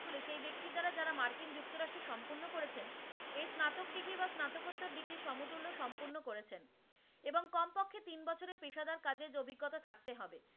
পেশাদার কাজের অভিজ্ঞতা থাকতে হবে।